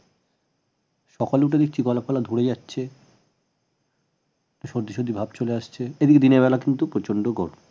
সকালে দিকে গলা ফলা ধরে যাচ্ছে সর্দি সর্দি ভাব ক্লে আসছে এদিকে দিনের বেলা কিন্তু প্রচন্ড গরম